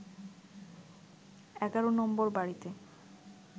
১১ নম্বর বাড়িতে